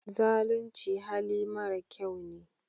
Zalunci hali mara kyau ne